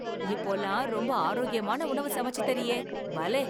இப்போல்லாம் ரொம்ப ஆரோக்கியமான உணவு சமைச்சு தரியே, பலே!